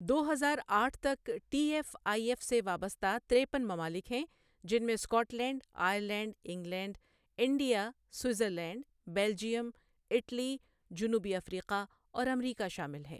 دو ہزار آٹھ تک ٹی ایف آئی ایف سے وابستہ تِریپن ممالک ہیں، جن میں Scotland, Ireland, England, India, Switzerland, Belgium, Italy, جنوبی افریقہ اور امریکہ شامل ہیں۔